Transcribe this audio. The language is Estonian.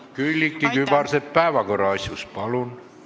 Külliki Kübarsepp päevakorra asjus, palun!